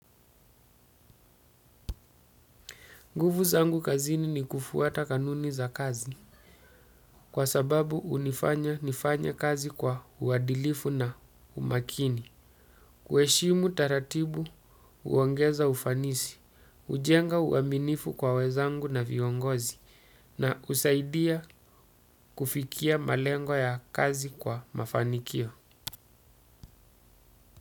Nguvu zangu kazini ni kufuata kanuni za kazi, kwa sababu hunifanya nifanye kazi kwa uadilifu na umakini. Kuheshimu taratibu huongeza ufanisi, hujenga uaminifu kwa wenzangu na viongozi na husaidia kufikia malengo ya kazi kwa mafanikio.